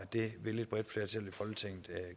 det vil et bredt flertal i folketinget